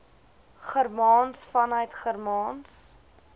germaans vanuit germaans